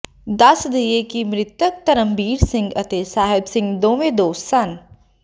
ਦੱਸ ਦਈਏ ਕਿ ਮ੍ਰਿਤਕ ਧਰਮਬੀਰ ਸਿੰਘ ਅਤੇ ਸਾਹਿਬ ਸਿੰਘ ਦੋਵੇਂ ਦੋਸਤ ਸਨ